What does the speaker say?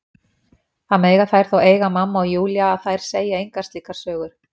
Það mega þær þó eiga mamma og Júlía að þær segja engar slíkar sögur.